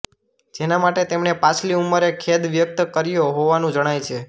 જેના માટે તેમણે પાછલી ઉંમરે ખેદ વ્યક્ત કર્યો હોવાનું જણાય છે